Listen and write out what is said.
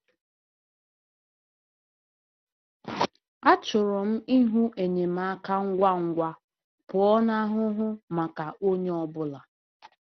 Achọrọ m ịhụ enyemaka ngwa ngwa pụọ n’ahụhụ maka onye ọ bụla.